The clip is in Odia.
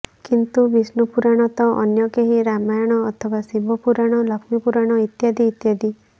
କିଏ ବିଷ୍ଣୁ ପୁରାଣ ତ ଅନ୍ୟ କେହି ରାମାୟଣ ଅଥବା ଶିବ ପୁରାଣ ଲକ୍ଷ୍ମୀ ପୁରାଣ ଇତ୍ୟାଦି ଇତ୍ୟାଦି